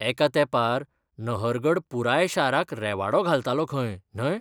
एका तेंपार नहरगड पुराय शाराक रेवाडो घालतालो खंय, न्हय?